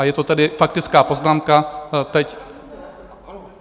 A je to tedy faktická poznámka teď.